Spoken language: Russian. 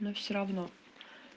но все равно